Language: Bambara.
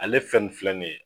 Ale ye fɛn nun filɛ nin ye